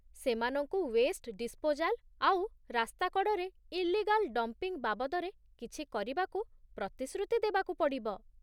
ସେମାନଙ୍କୁ waste disposal ଆଉ ରାସ୍ତା କଡ଼ରେ ଇଲିଗଲ୍ ଡମ୍ପିଂ ବାବଦରେ କିଛି କରିବାକୁ ପ୍ରତିଶ୍ରୁତି ଦେବାକୁ ପଡ଼ିବ ।